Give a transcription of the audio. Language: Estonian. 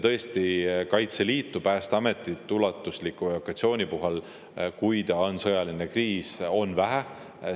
Tõesti, Kaitseliidust ja Päästeametist ulatusliku evakuatsiooni puhul, kui on sõjaline kriis, on vähe.